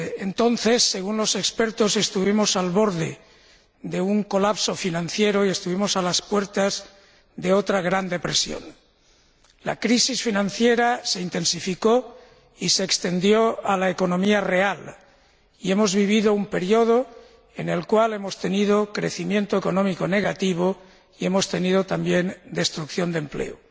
Entonces, según los expertos, estuvimos al borde de un colapso financiero y estuvimos a las puertas de otra gran depresión. La crisis financiera se intensificó y se extendió a la economía real y hemos vivido un período en el cual hemos tenido un crecimiento económico negativo, y hemos tenido también destrucción de empleo.